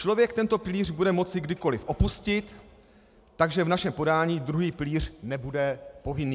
Člověk tento pilíř bude moci kdykoli opustit, takže v našem podání druhý pilíř nebude povinný.